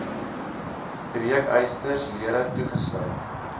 breekysters lere toegesluit